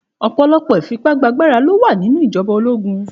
Òpòlòpò ifipàgbáàgbárá ló wá ninú ijòbá ólógún